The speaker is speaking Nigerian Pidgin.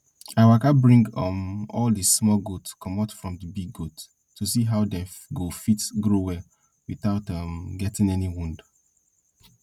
i waka bring um all di small goat comot from di big goats to see how dem go fit grow well without um getting any wound